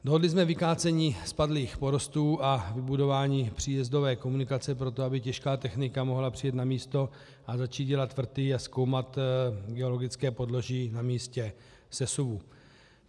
Dohodli jsme vykácení spadlých porostů a vybudování příjezdové komunikace pro to, aby těžká technika mohla přijet na místo a začít dělat vrty a zkoumat geologické podloží na místě sesuvu.